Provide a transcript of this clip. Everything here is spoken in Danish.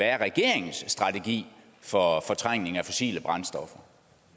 er regeringens strategi for fortrængning af fossile brændstoffer